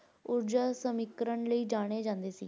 ਊਰਜਾ ਦਾ ਸਮੀਕਰਣ ਲਈ ਜਾਣੇ ਜਾਂਦੇ ਸੀ।